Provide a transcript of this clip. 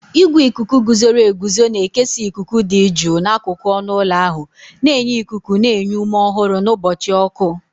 Igwe ikuku guzoro eguzo na-ekesa ikuku dị jụụ n'akụkụ ọnụ ụlọ ahụ, na-enye ikuku na-enye ume ọhụrụ n'ụbọchị ọkụ.